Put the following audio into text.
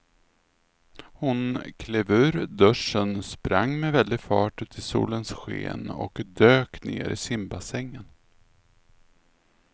Hon klev ur duschen, sprang med väldig fart ut i solens sken och dök ner i simbassängen.